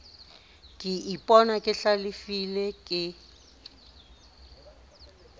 ke ipona ke hlalefile ke